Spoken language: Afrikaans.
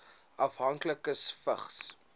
afhanklikes vigs